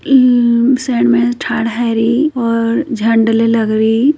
यह से में हारी ओर ज्न्दले लगी--